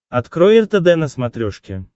открой ртд на смотрешке